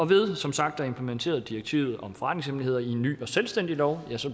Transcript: ved som sagt at implementere direktivet om forretningshemmeligheder i en ny selvstændig lov